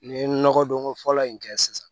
N ye nɔgɔ don ko fɔlɔ in kɛ sisan